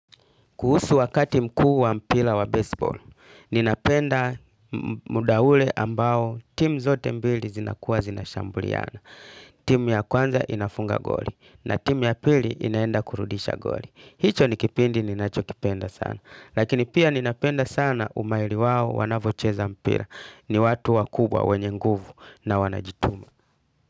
Kuhusu wakati mkuu wa mpila wa baseball, ninapenda muda ule ambao timu zote mbili zinakuwa zinashambuliana. Timu ya kwanza inafunga goli na timu ya pili inaenda kurudisha goli. Hicho ni kipindi ninachokipenda sana. Lakini pia ninapenda sana umaili wao wanavocheza mpira ni watu wakubwa wenye nguvu na wanajituma.